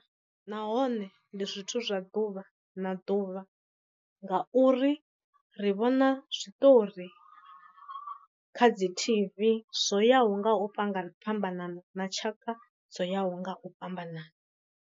Nahone ndi zwithu zwa ḓuvha na ḓuvha nga uri ri vhona zwiṱori kha dzi tv zwo yaho nga u fhambana fhambana na tshaka dzo yaho nga u fhambanana.